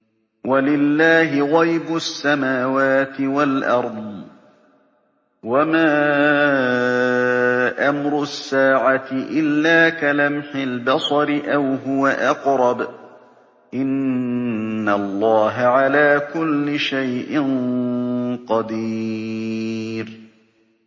وَلِلَّهِ غَيْبُ السَّمَاوَاتِ وَالْأَرْضِ ۚ وَمَا أَمْرُ السَّاعَةِ إِلَّا كَلَمْحِ الْبَصَرِ أَوْ هُوَ أَقْرَبُ ۚ إِنَّ اللَّهَ عَلَىٰ كُلِّ شَيْءٍ قَدِيرٌ